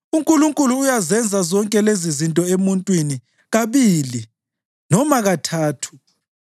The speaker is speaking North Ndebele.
UNkulunkulu uyazenza zonke lezizinto emuntwini kabili, noma kathathu